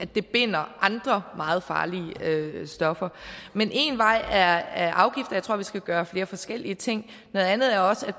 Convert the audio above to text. det binder andre meget farlige stoffer men en vej er afgifter jeg tror vi skal gøre flere forskellige ting noget andet er også at